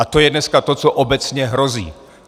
A to je dneska to, co obecně hrozí.